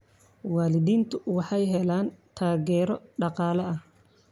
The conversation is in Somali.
Waalidiintu waxay helaan taageero dhaqaale.